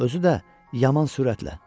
Özü də yaman sürətlə.